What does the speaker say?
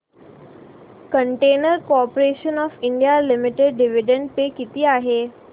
container corporation of India limited dividend pay किती आहे